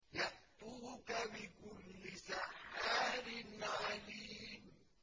يَأْتُوكَ بِكُلِّ سَحَّارٍ عَلِيمٍ